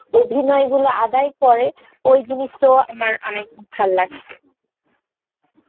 অভিনয় গুলো আদায় করে ওই জিনিসটো আমার অনেক ভালো লাগসে